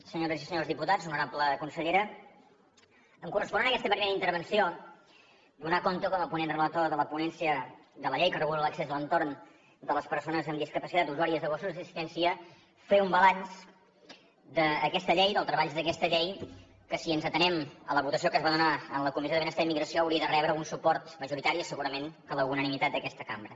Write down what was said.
senyores i senyors diputats honorable consellera em correspon en aquesta primera intervenció donar compte com a ponent relator de la ponència de la llei que regula l’accés a l’entorn de les persones amb discapacitat usuàries de gossos d’assistència fer un balanç d’aquesta llei i dels treballs d’aquesta llei que si ens atenim a la votació que es va donar en la comissió de benestar i immigració hauria de rebre un suport majoritari i segurament la unanimitat d’aquesta cambra